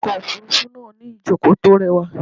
Okọ̀ òfúrúfú náà ní ìjókòó tó rẹwà.